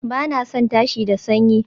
Ba na son tashi da sanyi